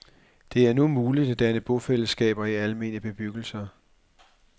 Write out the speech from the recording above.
Det er nu muligt at danne bofællesskaber i almene bebyggelser